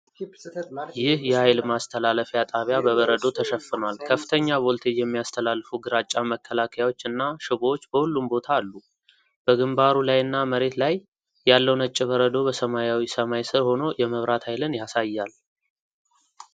ይህ የኃይል ማስተላለፊያ ጣቢያ በበረዶ ተሸፍኗል። ከፍተኛ ቮልቴጅ የሚያስተላልፉ ግራጫ መከላከያዎች እና ሽቦዎች በሁሉም ቦታ አሉ። በግንባሩ ላይና መሬት ላይ ያለው ነጭ በረዶ በሰማያዊው ሰማይ ሥር ሆኖ የመብራት ኃይልን ያሳያል።